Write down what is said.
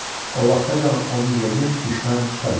O vaxtacan onun yerini düşmən tuta bilər.